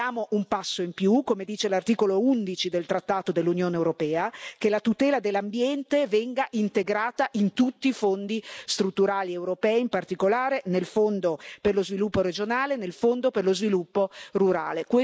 Ora chiediamo un passo in più, come dice l'articolo 11 del trattato dell'Unione europea che la tutela dell'ambiente venga integrata in tutti i fondi strutturali europei, in particolare nel Fondo per lo sviluppo regionale e nel Fondo per lo sviluppo rurale.